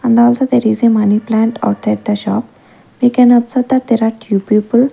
and also there is a money plant outside the shop we can observe that are two people.